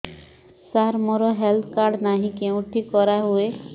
ସାର ମୋର health card ନାହିଁ କେଉଁଠି କରା ହୁଏ